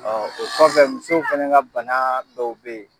Ɔ o kɔfɛ musow fɛnɛ ka bana dɔw be yen